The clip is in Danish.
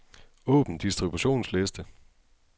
Åbn distributionsliste.